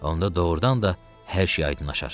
Onda doğurdan da hər şey aydınlaşar.